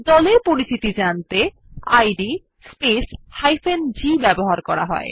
দলের পরিচিতি জানতে ইদ স্পেস g ব্যবহৃত হয়